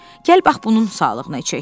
Gəl bax bunun sağlıqına içək.